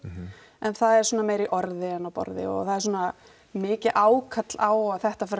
en það er svona meira í orði en á borði og það er svona mikið ákall á að þetta fari að